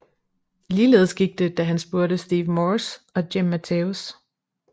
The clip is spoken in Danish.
Ligeledes gik det da han spurgte Steve Morse og Jim Matheos